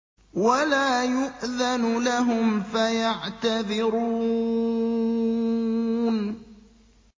وَلَا يُؤْذَنُ لَهُمْ فَيَعْتَذِرُونَ